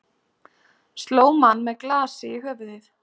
Sló mann með glasi í höfuðið